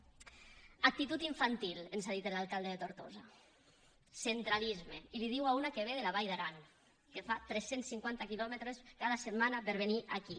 actitud infantil ens ha dit l’alcalde de tortosa centralisme i li ho diu a una que ve de la vall d’aran que fa tres cents i cinquanta quilòmetres cada setmana per venir aquí